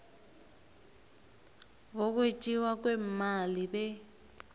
bokwetjiwa kweemali be